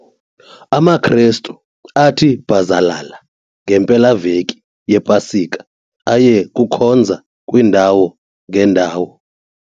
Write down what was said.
AmaKrestu athi bhazalala ngempelaveki yePasika aye kukhonza kwiindawo ngeendawo.